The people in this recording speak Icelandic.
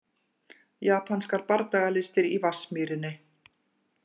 Japanskar bardagalistir í Vatnsmýrinni